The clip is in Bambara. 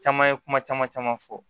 Caman ye kuma caman caman fɔ